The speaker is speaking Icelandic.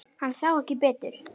Hann sá ekki betur.